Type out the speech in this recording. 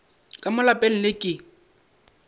ka mo lapeng le ke